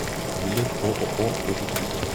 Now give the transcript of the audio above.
билет ооо позитив